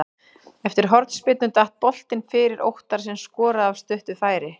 Eftir hornspyrnu datt boltinn fyrir Óttar sem skoraði af stuttu færi.